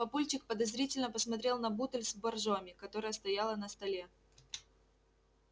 папульчик подозрительно посмотрел на бутыль с боржоми которая стояла на столе